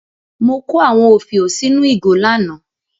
Mo kó àwọn òfiò sínú ìgò lánàá.